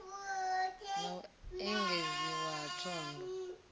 na u engedziwa ha thondo